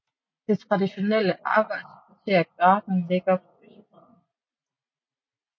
Det traditionelle arbejderkvarter Gaarden ligger på østbredden